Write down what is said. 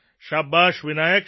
શાબાશ વિનાયક